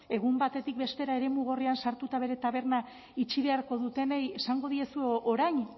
egun batetik bestera eremu gorrian sartuta bere taberna itxi beharko dutenei esango diezue orain